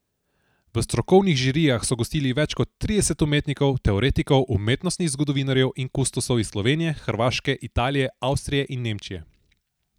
V strokovnih žirijah so gostili več kot trideset umetnikov, teoretikov, umetnostnih zgodovinarjev in kustosov iz Slovenije, Hrvaške, Italije, Avstrije in Nemčije.